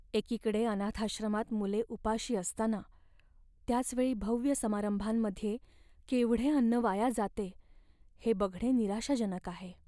एकीकडे अनाथाश्रमांत मुले उपाशी असताना त्याच वेळी भव्य समारंभांमध्ये केवढे अन्न वाया जाते हे बघणे निराशाजनक आहे.